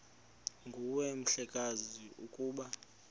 nguwe mhlekazi ukuba